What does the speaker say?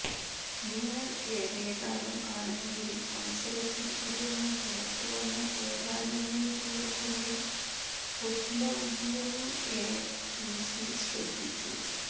നിങ്ങൾ ഏറിയ കാലം ആണെങ്കിൽ മത്സരത്തിൽ ഇരുന്നു പുറത്തു വന്നു ഏതാനും മിനിറ്റുകൾക്കുള്ളിൽ പൊദ്ലഗിവനിഎ പിസി ശ്രദ്ധിച്ചു